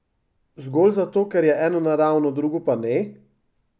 Zgolj zato, ker je eno naravno, drugo pa ne?